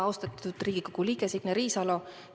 Austatud Riigikogu liige Signe Riisalo!